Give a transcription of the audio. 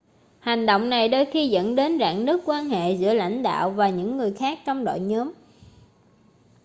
hành động này đôi khi dẫn đến rạn nứt quan hệ giữa lãnh đạo và những người khác trong đội nhóm